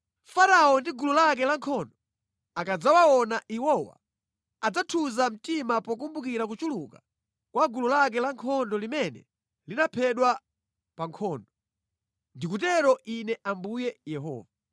“Farao ndi gulu lake lankhondo akadzawaona iwowa adzathunza mtima pokumbukira kuchuluka kwa gulu lake lankhondo limene linaphedwa pa nkhondo. Ndikutero Ine Ambuye Yehova.